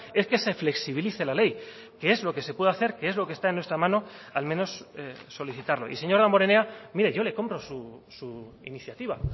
es que se flexibilice la ley que es lo que se puede hacer que es lo que está en nuestra mano al menos solicitarlo y señor damborenea mire yo le compro su iniciativa